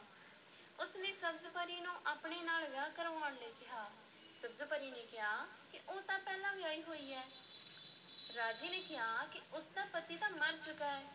ਉਸ ਨੇ ਸਬਜ਼-ਪਰੀ ਨੂੰ ਆਪਣੇ ਨਾਲ ਵਿਆਹ ਕਰਵਾਉਣ ਲਈ ਕਿਹਾ, ਸਬਜ਼-ਪਰੀ ਨੇ ਕਿਹਾ ਕਿ ਉਹ ਤਾਂ ਪਹਿਲਾਂ ਵਿਆਹੀ ਹੋਈ ਹੈ ਰਾਜੇ ਨੇ ਕਿਹਾ ਕਿ ਉਸ ਦਾ ਪਤੀ ਤਾਂ ਮਰ ਚੁੱਕਾ ਹੈ।